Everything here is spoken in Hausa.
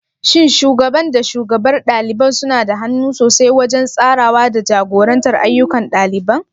Shin Shugaban da shugabar ɗaliban suna da hannu sosai wajen tsarawa da jagorantar ayyukan ɗaliban?